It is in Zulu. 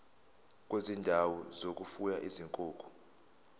kwezindawo zokufuya izinkukhu